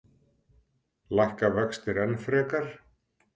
Lækka vextir enn frekar?